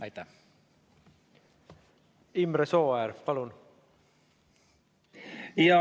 Imre Sooäär, palun!